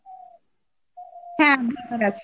হ্যাঁ আধার card আছে